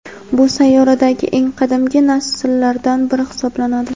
Bu sayyoradagi eng qadimgi nasllardan biri hisoblanadi.